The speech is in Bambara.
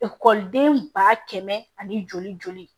den ba kɛmɛ ani joli joli